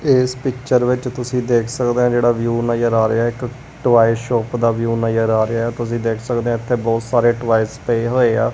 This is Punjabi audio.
ਇਸ ਪਿਕਚਰ ਵਿੱਚ ਤੁਸੀਂ ਦੇਖ ਸਕਦੇ ਹੋ ਜਹੜਾ ਵਿਊ ਨਜਰ ਆ ਰਿਹਾ ਹੈ ਇੱਕ ਟੁਆਏ ਸ਼ੌਪ ਦਾ ਵਿਊ ਨਜਰ ਆ ਰਿਹਾ ਆ ਤੁਸੀਂ ਦੇਖ ਸਕਦੇ ਆ ਇੱਥੇ ਬਹੁਤਸਾਰੇ ਟੁਆਏਸ ਪਏ ਹੋਏ ਆ।